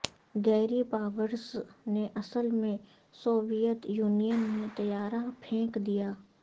گیری پاورز نے اصل میں سوویت یونین میں طیارہ پھینک دیا